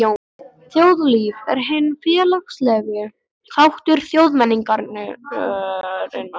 Þjóðlíf er hinn félagslegi þáttur þjóðmenningarinnar.